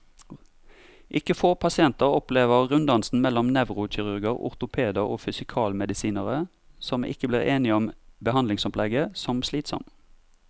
Ikke få pasienter opplever runddansen mellom nevrokirurger, ortopeder og fysikalmedisinere, som ikke blir enige om behandlingsopplegget, som slitsom.